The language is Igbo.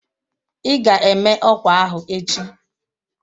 Ị ga-eme ọkwa ahụ echi